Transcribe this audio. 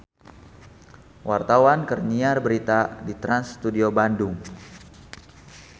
Wartawan keur nyiar berita di Trans Studio Bandung